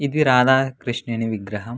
ఇది రాధా కృష్ణుని విగ్రహం.